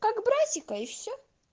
как братика и все